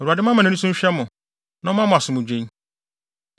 Awurade mma nʼani so nhwɛ mo na ɔmma mo asomdwoe.’